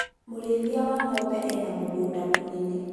mũrĩithia wa ng'ombe ena mũgũnda mũnene .